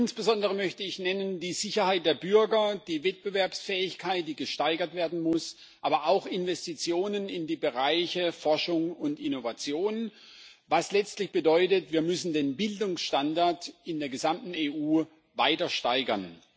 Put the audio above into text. Insbesondere nennen möchte ich die Sicherheit der Bürger, die Wettbewerbsfähigkeit, die gesteigert werden muss, aber auch Investitionen in die Bereiche Forschung und Innovation, was letztlich bedeutet, wir müssen den Bildungsstandard in der gesamten EU weiter steigern.